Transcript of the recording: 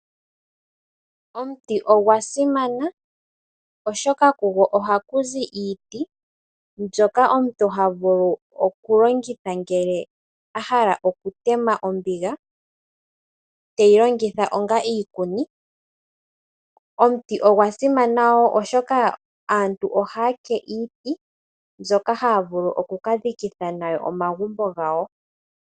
Omuti ogwa simana oshoka kugo ohaku zi iiti mbyoka omuntu havulu oku longitha ngele ahala oku tema ombiga teyi longitha onga iikuni. Omuti ogwa simana wo oshoka aantu ohaya ke iiti mbyoka haya vulu oku kadhika nawo omagumbo gawo.